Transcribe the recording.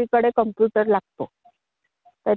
ही computer मध्ये संधी आहे.